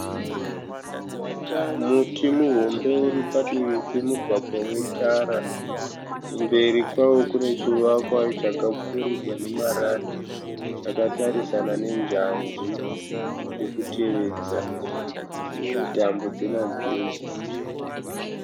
Muti muhombe uri padivi pemugwagwa wetara. Kumberi kwawo kune chivakwa chakapfuurirwa nemarata chakatarisana nenjanji chiri kutevedza uye tambo dzemagetsi.